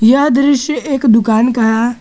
यह दृश्य एक दुकान का है।